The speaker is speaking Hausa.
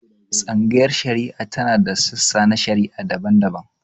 Tsangayar shari'a tana da sassa na shari'a daban-daban.